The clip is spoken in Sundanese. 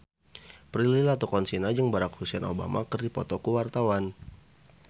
Prilly Latuconsina jeung Barack Hussein Obama keur dipoto ku wartawan